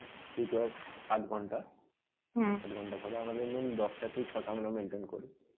duty হয় আট ঘন্টা আট ঘন্টা পরে আমাদের main দশটা তো ছটা আমরা maintain করি.